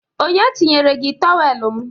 Onye chinyere gị tọwel m?